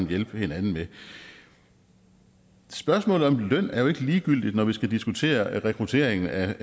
hjælpe hinanden med spørgsmålet om løn er jo ikke ligegyldigt når vi skal diskutere rekruttering af